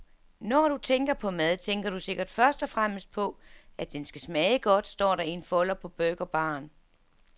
Når du tænker på mad, tænker du sikkert først og fremmest på, at den skal smage godt, står der i en folder på burgerbaren.